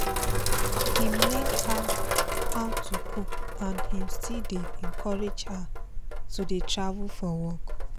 im learn how how to cook and im still dey encourage her to dey travel for work